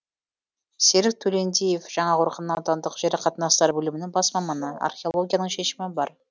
серік төлендиев жаңақорған аудандық жер қатынастары бөлімінің бас маманы археологияның шешімі бар